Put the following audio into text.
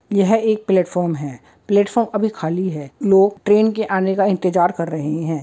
यह एक प्लेटफार्म है प्लेटफार्म अभी खाली है लोग ट्रेन के आने का इंतजार कर रहे हैं।